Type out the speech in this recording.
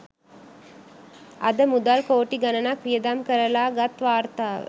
අද මුදල් කෝටි ගණනක් වියදම් කරලා ගත් වාර්තාව